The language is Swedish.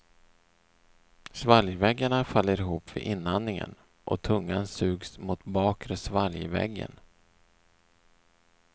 Svalgväggarna faller ihop vid inandningen och tungan sugs mot bakre svalgväggen.